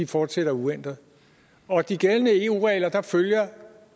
fortsætter uændret og af de gældende eu regler følger